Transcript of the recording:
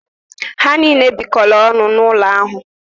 Ha niile bikọrọ ọnụ n’ụlọ ahụ